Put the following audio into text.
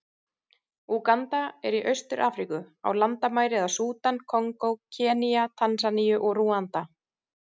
Úganda er í Austur-Afríku, og á landamæri að Súdan, Kongó, Kenía, Tansaníu og Rúanda.